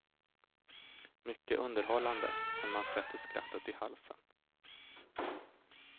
Mycket underhållande, men man sätter skrattet i halsen.